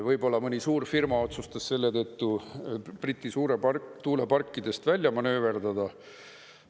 Võib-olla mõni suurfirma otsustas selle tõttu britid tuuleparkidest välja manööverdada.